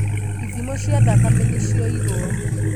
ithimo cia thakame nĩcioirwo